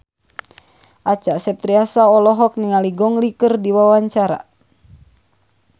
Acha Septriasa olohok ningali Gong Li keur diwawancara